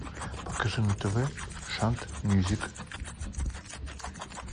покажи на тв шант мьюзик